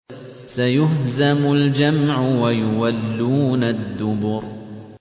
سَيُهْزَمُ الْجَمْعُ وَيُوَلُّونَ الدُّبُرَ